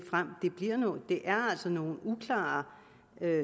altså nogle uklare